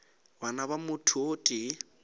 bana ba motho o tee